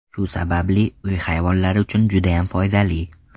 Shu sababli uy hayvonlari uchun judayam foydali.